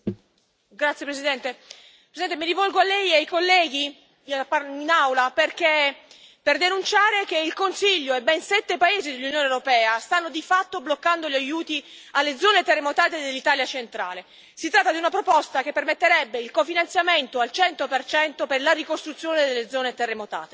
Signor Presidente, onorevoli colleghi, mi rivolgo a Lei e ai colleghi in Aula per denunciare che il Consiglio e ben sette paesi dell'Unione europea stanno di fatto bloccando gli aiuti alle zone terremotate dell'Italia centrale. Si tratta di una proposta che permetterebbe il cofinanziamento al cento per cento della ricostruzione delle zone terremotate.